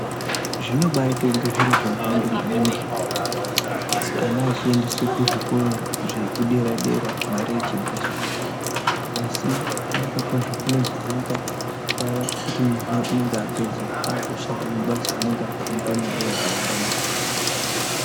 Zvinobaite kunge ngezve nhando maningi ana achiendeswe kuzvikoro zvedera dera mare ichhibviswa asi kunaka kwazvo kunozoonekwa paya pekuti mwana unenge apedza akushanda mabasa anenge achimupa mare yakawanda maningi.